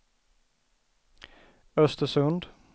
Östersund